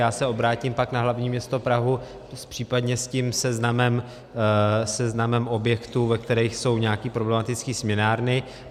Já se obrátím pak na hlavní město Prahu případně s tím seznamem objektů, ve kterých jsou nějaké problematické směnárny.